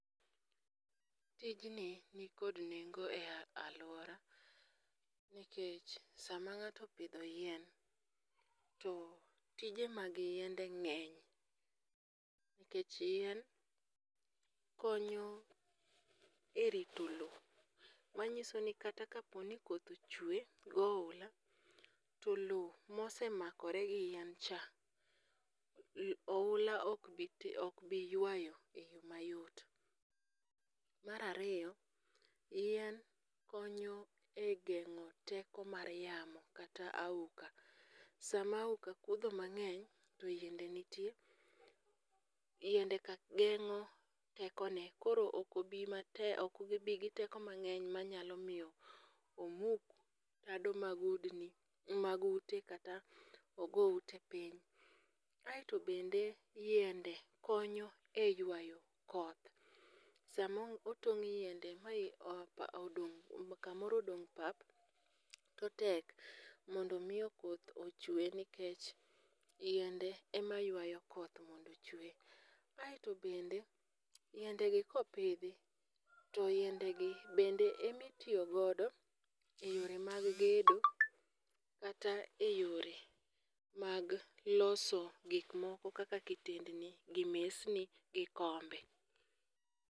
Tijni nikod nengo e alwora nikech sama ng'ato opidho yien, to tije mag yiende ng'eny nikech yien, konyo e rito lowo, manyiso ni kata kaponi koth chwe gohula, to lowo mosemakore gi yin cha, ohula ok bi ywayo e yo mayot. Mar ariyo, yien konyo e geng'o teko mar yamo kata auka. Sama auka kudho mang'eny to yiende nitie, yiendeka geng' tekone koro ok gibi gi teko mang'eny manyalo miyo omuk tado mag ute kata ogo ute piny. Aeto bende yiende konyo e ywayo koth, sama otong' yiende ma kamoro odong' pap, to tek mondo omi koth ochwe nikech yiende ema ywayo koth mondo ochwe. aeto bende yiendegi kopidhi, to yiendegi bende emitiyo god e yore mag gedo kata e yore mag loso gik moko kaka kitendni gi mesni gi kombe.